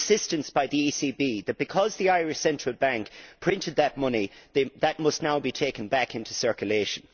The insistence by the ECB that, because the Irish Central Bank printed that money, that must now be taken back into circulation.